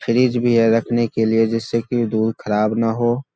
Fridge भी है रखने के लिए जिससे की दूध खराब न हो।